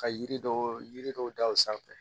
Ka yiri dɔw yiri dɔw da u sanfɛ